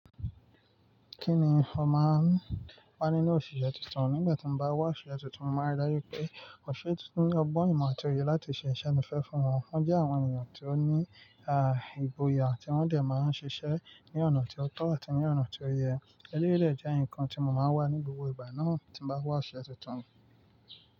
Kíni mo máa ń wà nínú òṣìṣẹ́ tuntun nígbà tí mo bá wà sí ọṣẹ tuntun, mo máa rí i lẹ́yìn pé òṣìṣẹ́ tuntun ọgbọ́n ìmọ̀ àti òye láti ṣe iṣẹ́ tí mo fẹ́ fún wọn. Wọn jẹ́ àwọn ènìyàn tó ní, à, ìgboyà àti wọ́n sì máa ń ṣiṣẹ́ ní ọ̀nà tí ó tọ́ àti ní ọ̀nà tí ó yẹ. Eleyii rẹ̀ jẹ́ nǹkan tí mo máa wà ní gbogbo ìgbà náà tí mo bá n wà ósìsẹ́ tuntun.